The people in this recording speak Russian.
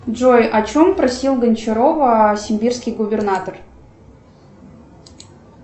джой о чем просил гончарова сибирский губернатор